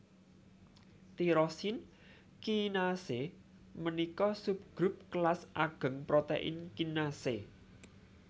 Tirosin kinasé ménika subgrup kélas agéng protèin kinasé